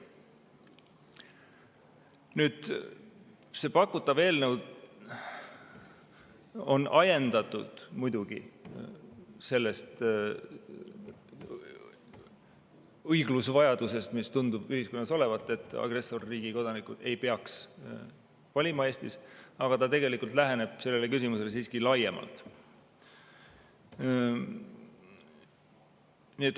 Nüüd, see pakutav eelnõu on ajendatud muidugi sellest õiglusevajadusest, mis tundub ühiskonnas olevat, et agressorriigi kodanikud ei peaks Eestis valima, aga ta läheneb sellele küsimusele siiski laiemalt.